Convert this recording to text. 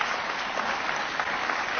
Und zwar zwei Dinge gehen nicht.